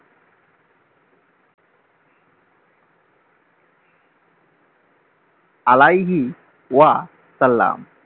আলাইগি ওয়া সাল্লাম